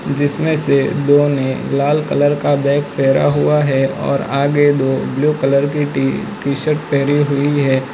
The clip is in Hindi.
जिसमें से दो ने लाल कलर का बैग पहरा हुआ है और आगे दो ब्लू कलर की टी टी शर्ट पहरी हुई है।